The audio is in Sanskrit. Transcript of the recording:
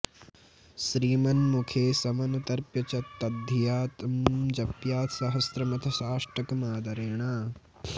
श्रीमन्मुखे समनुतर्प्य च तद्धिया तं जप्यात् सहस्रमथ साष्टकमादरेण